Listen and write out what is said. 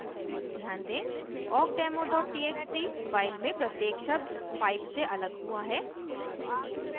ध्यान दें awkdemo txt file में प्रत्येक शब्द pipe से अलग हुआ है